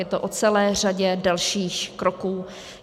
Je to o celé řadě dalších kroků.